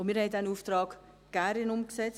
Und wir haben diesen Auftrag gerne umgesetzt.